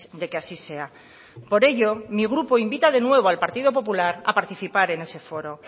de que así sea por ello mi grupo invita de nuevo al partido popular a participar en ese foro